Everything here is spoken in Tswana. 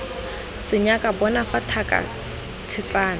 senyaka bona fa thaka tshetsana